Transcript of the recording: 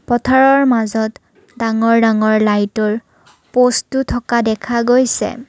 পথাৰৰ মাজত ডাঙৰ ডাঙৰ লাইটৰ প'ষ্টো থকা দেখা গৈছে।